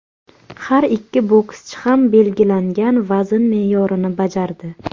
Har ikki bokschi ham belgilangan vazn me’yorini bajardi.